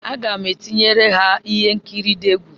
Aga m etinyere ha ihe nkiri di egwu.